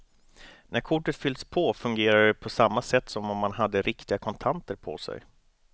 När kortet fyllts på fungerar det på samma sätt som om man hade riktiga kontanter på sig.